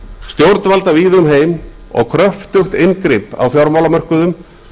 stjórnvalda víða um heim og kröftugt inngrip á fjármálamörkuðum